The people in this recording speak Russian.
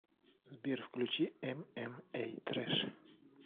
сбер включи эм эм эй трэш